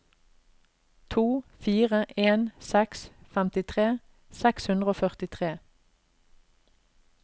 to fire en seks femtitre seks hundre og førtitre